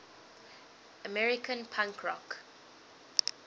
american punk rock